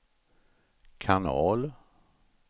kanal